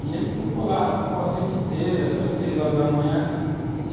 E ele tocou lá, ficou a noite inteira, saiu às seis horas da manhã e,